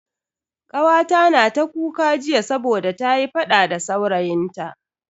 Kawata na ta kuka jiya saboda ta yi fada da saurayin ta.